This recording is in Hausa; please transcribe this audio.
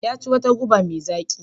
Ya ci wata goba mai zaƙi.